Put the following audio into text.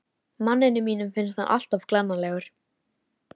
Manninum mínum finnst hann alltof glannalegur.